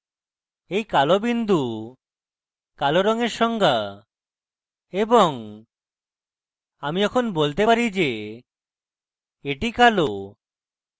এই কালো বিন্দু কালো রঙের সংজ্ঞা এবং আমি এখন বলতে পারি the the কালো